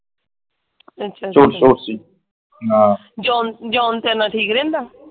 ਅੱਛਾ ਅੱਛਾ। John John ਤੇਰੇ ਨਾਲ ਠੀਕ ਰਹਿੰਦਾ?